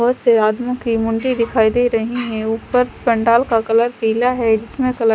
बहोत से आदमियों की मुंडी दिखाई दे रही है ऊपर पंडाल का कलर पीला है जिसमें कलर --